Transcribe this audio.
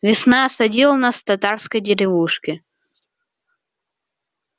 весна осадила нас в татарской деревушке